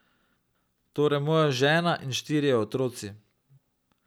Torej moja žena in štirje otroci.